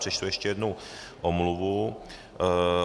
Přečtu ještě jednu omluvu.